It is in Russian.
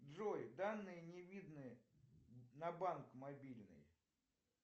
джой данные не видны на банк мобильный